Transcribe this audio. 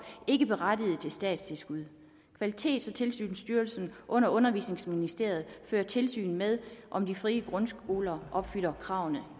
ikke berettiget til statstilskud kvalitets og tilsynsstyrelsen under undervisningsministeriet fører tilsyn med om de frie grundskoler opfylder kravene